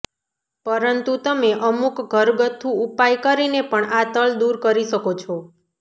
પરંતુ તમે અમુક ઘરગથ્થુ ઉપાય કરીને પણ આ તલ દૂર કરી શકો છો